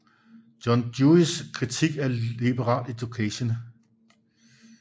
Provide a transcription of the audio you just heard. John Deweys kritik af liberal education